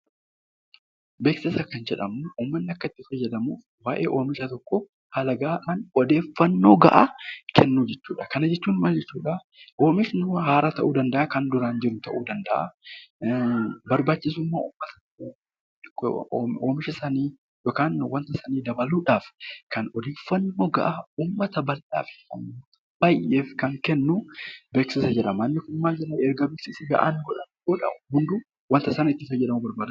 Beeksisa kan jedhamu uummanni akka itti fayyadamuuf waayee oomisha tokkoo odeeffannoo gahaa kennuu jechuudha. Kana jechuun oomishni haaraa ta'uu danda'a yookaan kan duraan jiru ta'uu danda'a. Barbaachisummaa oomisha sanii yookaan wanta inni dabaluudhaaf kan odeeffannoo gahaa uummata baay'eef kan kennu beeksisa jedhama.